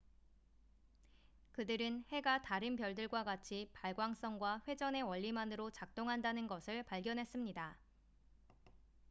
그들은 해가 다른 별들과 같이 발광성과 회전의 원리만으로 작동한다는 것을 발견했습니다